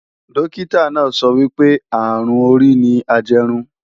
Dókítà náà sọ wípé, àrùn orí ni ajẹrun